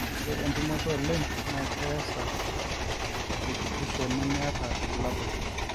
ore entumoto oleng naa keesa tekitisho nemeeta irbulabul